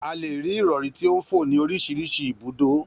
A lè rí ìrọ̀rí tí ó ń fò ni orísirísi ibùdó